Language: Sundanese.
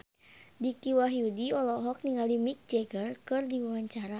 Dicky Wahyudi olohok ningali Mick Jagger keur diwawancara